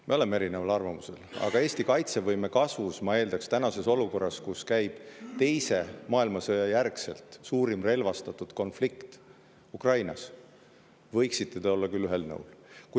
Me oleme erineval arvamusel, aga Eesti kaitsevõime kasvu tänases olukorras, kus Ukrainas käib Teise maailmasõja järgselt suurim relvastatud konflikt, võiksime me küll olla ühel nõul.